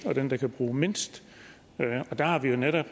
og den der bruger mindst og der har vi jo netop